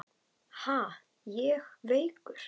Ha, ég veikur!